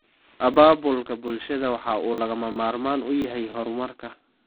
Abaabulka bulshadu waxa uu lagama maarmaan u yahay horumarka.